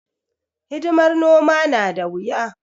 Hidimar noma na da wuya.